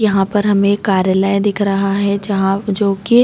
यहाँ पर हमे एक कार्यालय दिख रहा है जहाँ जो की--